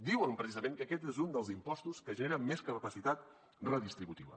diuen precisament que aquest és un dels impostos que genera més capacitat redistributiva